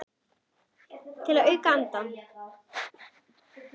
Til að auka andann.